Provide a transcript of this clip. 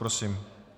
Prosím.